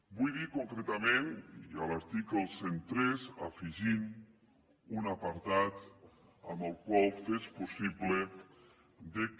vull dir concretament i a l’article cent i tres afegint un apartat amb el qual fes possible que